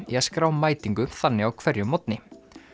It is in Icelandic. í að skrá mætingu þannig á hverjum morgni